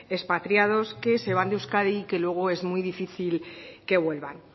expatriados que se van de euskadi y que luego es muy difícil que vuelvan